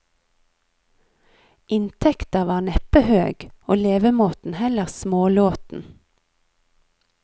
Inntekta var neppe høg, og levemåten heller smålåten.